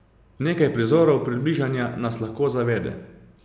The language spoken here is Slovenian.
Nekaj prizorov približanja nas lahko zavede.